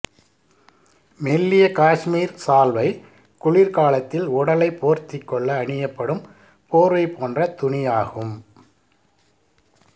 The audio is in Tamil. மெல்லிய காஷ்மீர் சால்வை குளிர்காலத்தில் உடலைப் போர்த்திக் கொள்ள அணியப்படும் போர்வை போன்ற துணியாகும்